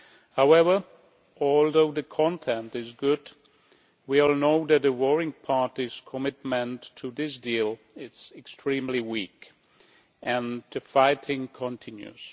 However, although the content is good, we all know that the worrying part is that commitment to this deal it is extremely weak and the fighting continues.